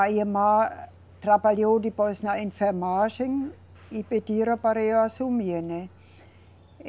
A irmã trabalhou depois na enfermagem e pedira para eu assumir, né?